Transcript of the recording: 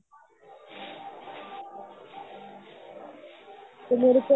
ਤੇ ਮੇਰੇ ਕੋਲ